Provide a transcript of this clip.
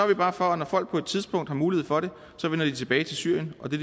vi bare for at når folk på et tidspunkt har mulighed for det vender de tilbage til syrien og det